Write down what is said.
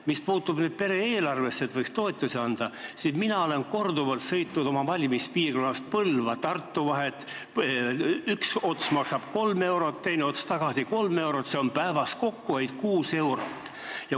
Mis puutub nüüd pere eelarvesse, et võiks toetusi anda, siis mina olen korduvalt sõitnud oma valimispiirkonnas Põlva-Tartu vahet, üks ots maksab 3 eurot, teine ots tagasi 3 eurot, see teeb päevas kokkuhoidu 6 eurot.